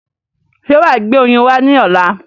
Ṣé wàá gbé oyin wá ní ọ̀la?